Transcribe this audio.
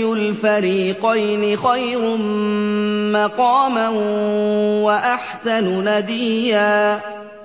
الْفَرِيقَيْنِ خَيْرٌ مَّقَامًا وَأَحْسَنُ نَدِيًّا